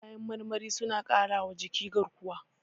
Kayan marmari suna ƙarawa jiki garkuwa.